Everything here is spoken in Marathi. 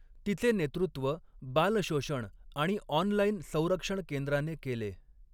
तिचे नेतृत्व बाल शोषण आणि ऑनलाइन संरक्षण केंद्राने केले.